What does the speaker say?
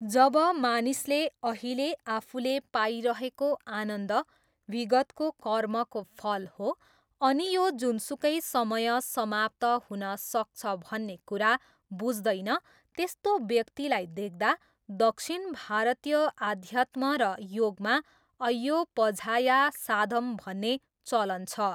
जब मानिसले अहिले आफूले पाइरहेको आनन्द विगतको कर्मको फल हो अनि यो जुनसुकै समय समाप्त हुन सक्छ भन्ने कुरा बुझ्दैन त्यस्तो व्यक्तिलाई देख्दा दक्षिण भारतीय अध्यात्म र योगमा अय्यो पझाया साधम भन्ने चलन छ।